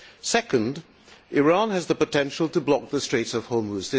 Secondly, Iran has the potential to block the Strait of Hormuz.